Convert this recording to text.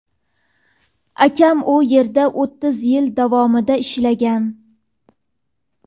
Akam u yerda o‘ttiz yil davomida ishlagan.